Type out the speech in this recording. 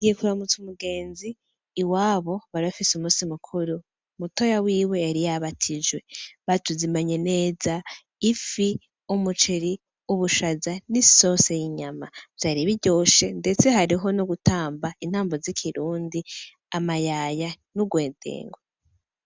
Ngiye kuramutsa umugenzi, iwabo bari bafise umusi mukuru. Mutoya wiwe yari yabatijwe. Batuzimanye neza: ifi, umuceri, ubushaza n'isose y'inyama. Vyari biryoshe, ndetse hariho no gutamba intambo z'ikirundi, amayaya n'ugwedengwe.